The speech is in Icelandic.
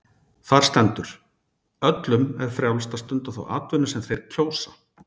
Þar stendur: Öllum er frjálst að stunda þá atvinnu sem þeir kjósa.